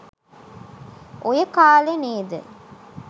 ඔය කා‍ලේ නේද